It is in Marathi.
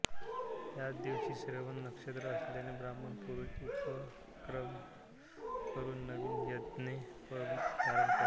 याच दिवशी श्रवण नक्षत्र असल्याने ब्राह्मण पुरुष उपाकर्म करून नवीन यज्ञोपवीत धारण करतात